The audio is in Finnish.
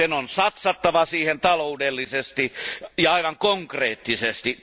Sen on satsattava siihen taloudellisesti ja konkreettisesti.